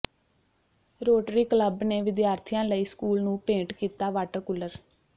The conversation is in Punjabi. ਰੋਟਰੀ ਕਲੱਬ ਨੇ ਵਿਦਿਆਰਥੀਆਂ ਲਈ ਸਕੂਲ ਨੂੰ ਭੇਂਟ ਕੀਤਾ ਵਾਟਰ ਕੂਲਰ